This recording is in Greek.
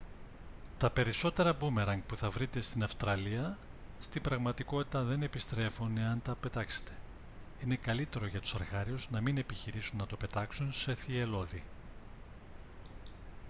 τα περισσότερα μπούμεραγκ που θα βρείτε στην αυστραλία στην πραγματικότητα δεν επιστρέφουν εάν τα πετάξετε είναι καλύτερο για τους αρχάριους να μην επιχειρήσουν να το πετάξουν σε θυελλώδη